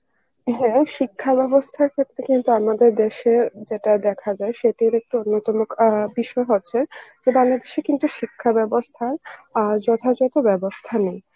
হম শিক্ষা বেবস্থার ক্ষেত্রে কিন্তু আমাদের দেশে যেটা দেখা যায় সেটার একটি অন্য তম বিষয় হচ্ছে যে বাংলা দেশে কিন্তু শিক্ষা বেবস্থা আ যথা যথ বেবস্থা নেই